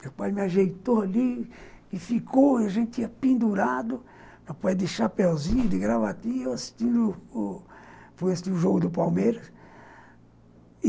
Meu pai me ajeitou ali e ficou, a gente tinha pendurado, meu pai de chapéuzinho, de gravatinha, assistindo o o foi assistir o jogo do Palmeiras.